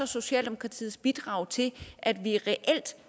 socialdemokratiets bidrag til at vi reelt